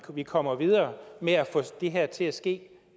at vi kommer videre med at få det her til at ske